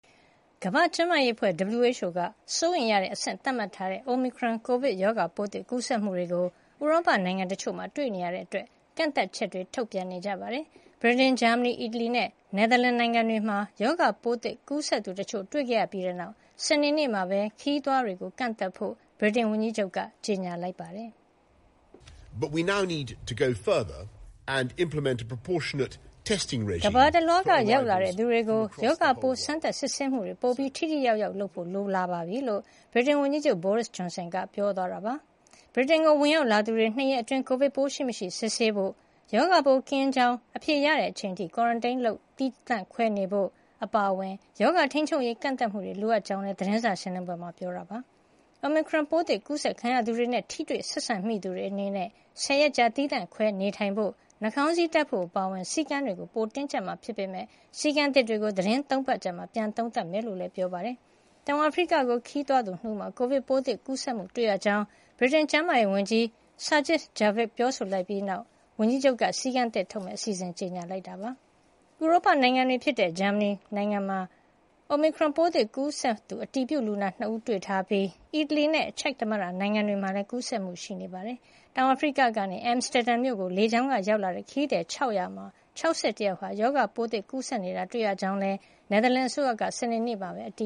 ကမ္ဘာ့ကျန်းမာရေးအဖွဲ့ (WHO) က စိုးရိမ်ရတဲ့အဆင့် သတ်မှတ်ထားတဲ့ Omicron ကိုဗစ်ရောဂါပိုးသစ် ကူးစက်မှုတွေကို ဥရောပနိုင်ငံတချို့မှာ တွေ့ရှိရတာကြောင့် ကန့်သတ်ချက်တွေ ထုတ်ပြန်နေကြပါတယ်။ ဗြိတိန်၊ ဂျာမနီ၊ အီတလီနဲ့ နယ်သာလန် နိုင်ငံတွေမှာ ရောဂါပိုးသစ် ကူးစက်သူတချို့ တွေ့ခဲ့ရပြီးနောက် စနေနေ့မှာပဲ ခရီးသွားတွေကို ကန့်သတ်ဖို့ ဗြိတိန်ဝန်ကြီးချုပ်က ကြေညာလိုက်ပါတယ်။ “ကမ္ဘာတလွှားက ရောက်လာတဲ့သူတွေကို ရောဂါပိုး စမ်းသပ်စစ်ဆေးမှုတွေ ပိုပြီး ထိထိရောက်ရောက်လုပ်ဖို့ လိုအပ်လာပါပြီ။” လို့ ဗြိတိန်ဝန်ကြီးချုပ် Boris Johnson က ပြောသွားတာပါ။ ဗြိတိန်ကို ဝင်ရောက်လာသူတွေ ၂ ရက်အတွင်း ကိုဗစ်ပိုးရှိမရှိ စစ်ဆေးဖို့၊ ရောဂါပိုး ကင်းရှင်းကြောင်း အဖြေရတဲ့ အချိန်အထိ Quarantine သီးသန့်ခွဲ နေထိုင်ဖို့ အပါအဝင် ရောဂါထိန်းချုပ်ရေး ကန့်သတ်မှုတွေ လိုအပ်ကြောင်းလည်း သတင်းစာရှင်းလင်းပွဲမှာ ပြောကြားခဲ့ပါတယ်။ Omicron ပိုးသစ် ကူးစက်ခံရသူတွေနဲ့ ထိတွေ့ဆက်ဆံမိသူတွေ အနေနဲ့ ၁၀ ရက်ကြာ သီးသန့်ခွဲနေထိုင်ဖို့၊ နှာခေါင်းစည်းတပ်ဖို့ အပါအဝင် စည်းကမ်းတွေကို ပိုမိုတင်းကျပ်မှာ ဖြစ်ပေမယ့် စည်းကမ်းသစ်တွေကို သီတင်း ၃ ပတ်အကြာမှာ ပြန်လည်သုံးသပ်မှာ ဖြစ်ကြောင်းလည်း ပြောပါတယ်။ တောင်အာဖရိကကို ခရီးသွားခဲ့တဲ့သူ ၂ ဦးမှာ ကိုဗစ်ပိုးသစ် ကူးစက်မှု တွေ့ရှိခဲ့ရကြောင်း ဗြိတိန်ကျန်းမာရေးဝန်ကြီး Sajid Javid က ပြောဆိုလိုက်ပြီးနောက် ဝန်ကြီးချုပ်က စည်းကမ်းသစ်ထုတ်မယ့် အစီအစဉ်တွေကို ကြေညာခဲ့တာလည်း ဖြစ်ပါတယ်။ ဥရောပနိုင်ငံတွေဖြစ်ကြတဲ့ ဂျာမနီနိုင်ငံမှာ Omicron ပိုးသစ် ကူးစက်သူ အတည်ပြုလူနာ ၂ ဦး တွေ့ရှိထားပြီး အီတလီနဲ့ ချက်သမ္မတနိုင်ငံတွေမှာလည်း ကူးစက်မှုတွေ တွေ့ရှိထားတာပါ။ တောင်အာဖရိကကနေ Amsterdam မြို့ကို လေကြောင်းက ရောက်လာတဲ့ ခရီးသည် ၆၀၀ မှာ ၆၁ ယောက် ရောဂါပိုးသစ် ကူးစက်နေတာ တွေ့ရကြောင်းလည်း နယ်သာလန်အစိုးရက စနေနေ့မှာပဲ အတ